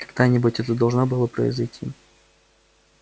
когда-нибудь это должно было произойти